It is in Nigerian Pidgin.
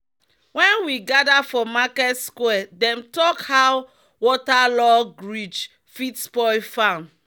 "when we gather for market square dem talk how waterlogged ridge fit spoil farm."